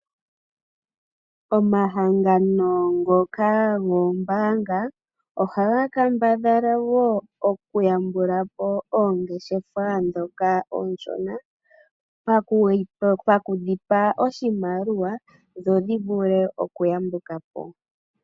Omahangano ngoka goombaanga ohaga kambadhala okuyambula po oongeshefa oonshona mokudhi pa oshimaliwa dho dhi vule okuyambuka po.